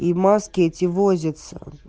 и маски эти возятся